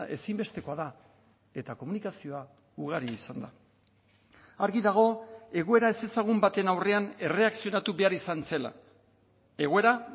ezinbestekoa da eta komunikazioa ugari izan da argi dago egoera ezezagun baten aurrean erreakzionatu behar izan zela egoera